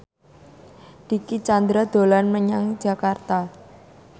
Dicky Chandra dolan menyang Jakarta